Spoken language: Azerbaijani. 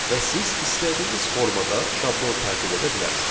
Və siz istədiyiniz formada şablon tərtib edə bilərsiniz.